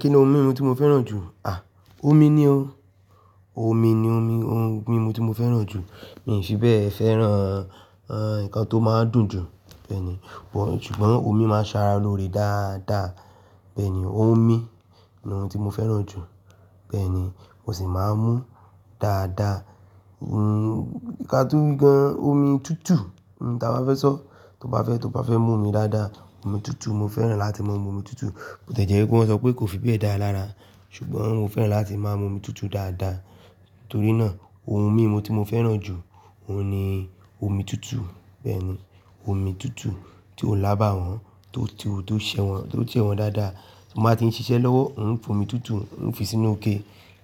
Kí ni ohun mímu tí mo fẹ́ràn jù? À, omi ni ó, omi ni omi, ohun mímu tí mo fẹ́ràn jù. Mi fi bẹ́ẹ̀ fẹ́ràn, ẹ́ń, ǹkan tó máa ń dùn jù bẹ́ẹ̀ni. Ṣùgbọ́n omi máa ń ṣara lóore dáadáa. Bẹ́ẹ̀ni, omi ni ohun tí mo fẹ́ràn jù. Bẹ́ẹ̀ni, mo sì máa ń mú dáadáa. Ǹkan tó bá gán, omi tútù, ǹ ta bá fẹ́ sọ, tọ́ bá fẹ́, tọ́ bá fẹ́ mú omi dáadáa, omi tútù, mo fẹ́ràn láti máa ń mú omi tútù. Mo tẹ̀jẹ́ pé wọ́n sọ pé kò fi bẹ́ẹ̀ dára lára, ṣùgbọ́n mo fẹ́ràn láti máa ń mú omi tútù dáadáa. Torí náà ohun mímu tí mo fẹ́ràn jù, òun ni omi tútù. Bẹ́ẹ̀ni, omi tútù tí ó lábàwọ́n, tó ti ó, tó ṣẹ́ wọ́n, tó ti sẹwọn dáadáa. Mo bá ti ń ṣiṣẹ́ lọ́wọ́, ǹ fi omi tútù, ǹ fi sínú ikè,